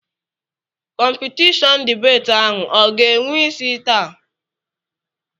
Kọmpitishọnụ dibeeti ahụ ọ ga-enwe isi taa?